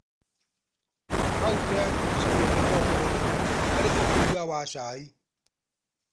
Kauntĩ ya kĩricũ nĩyo ĩtongoretie harĩ ũkũria wa cai.